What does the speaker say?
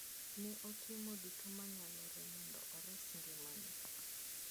Ne otimo duto monyalo mondo ores ngimane.